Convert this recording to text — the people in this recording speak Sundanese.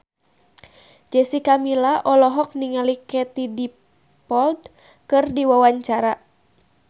Jessica Milla olohok ningali Katie Dippold keur diwawancara